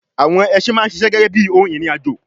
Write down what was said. àwọn ẹsin máa ń sisẹ́ gẹ́gẹ́ bíi ohun ìrìn àjò